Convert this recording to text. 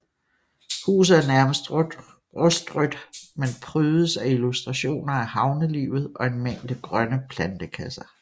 Huset er nærmest rustrødt men prydes af illustrationer af havnelivet og en mængde grønne plantekasser